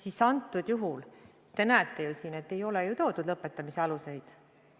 Aga praegusel juhul te näete ju, et ei ole lõpetamise alust.